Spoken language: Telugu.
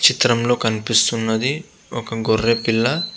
చిత్రంలో కనిపిస్తున్నది ఒక గొర్రె పిల్ల.